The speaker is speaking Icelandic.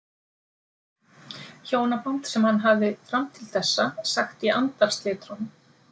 Hjónaband sem hann hafði fram til þessa sagt í andarslitrunum.